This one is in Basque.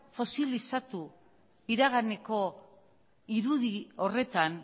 fosilizatu iraganeko irudi horretan